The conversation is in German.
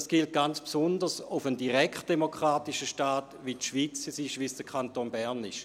Dies gilt ganz besonders für einen direktdemokratischen Staat wie es die Schweiz ist, wie es der Kanton Bern ist.